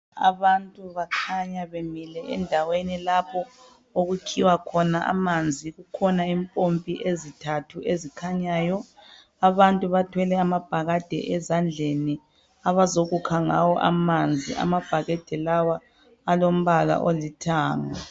Abantu bakhanya bemile endaweni lapho okukhiwa khona amanzi kukhona impompi ezintathu ezikhanyayo abantu bathwele amabhakede ezandleni abazokukha ngawo amanzi amabhakede lawa alombala olithanga.